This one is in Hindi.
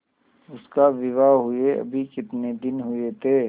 उसका विवाह हुए अभी कितने दिन हुए थे